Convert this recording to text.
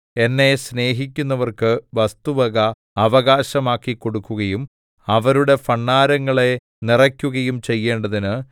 എന്നെ സ്നേഹിക്കുന്നവർക്ക് വസ്തുവക അവകാശമാക്കിക്കൊടുക്കുകയും അവരുടെ ഭണ്ഡാരങ്ങളെ നിറയ്ക്കുകയും ചെയ്യേണ്ടതിന്